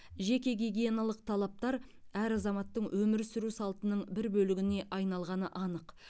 жеке гигиеналық талаптар әр азаматтың өмір сүру салтының бір бөлігіне айналғаны анық